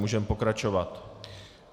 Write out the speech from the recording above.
Můžeme pokračovat.